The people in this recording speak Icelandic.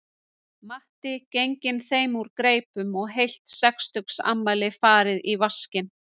Matti genginn þeim úr greipum og heilt sextugsafmæli farið í vaskinn